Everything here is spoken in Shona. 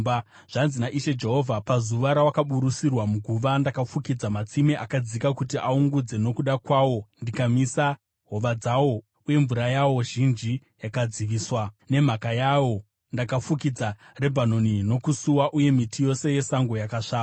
“ ‘Zvanzi naIshe Jehovha: Pazuva rawakaburutsirwa muguva ndakafukidza matsime akadzika kuti aungudze nokuda kwawo ndikamisa hova dzawo, uye mvura yawo zhinji yakadziviswa. Nemhaka yawo ndakafukidza Rebhanoni nokusuwa, uye miti yose yesango yakasvava.